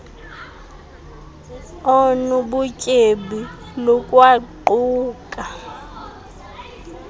onu butyebi lukwaquka